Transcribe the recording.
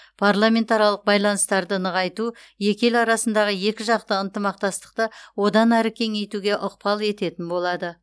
парламентаралық байланыстарды нығайту екі ел арасындағы екіжақты ынтымақтастықты одан әрі кеңейтуге ықпал ететін болады